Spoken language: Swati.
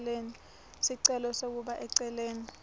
sicelo sekubeka eceleni